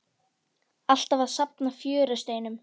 Alltaf að safna fjörusteinum.